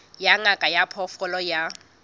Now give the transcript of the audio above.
ya ngaka ya diphoofolo ya